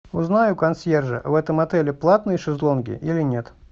узнай у консьержа в этом отеле платные шезлонги или нет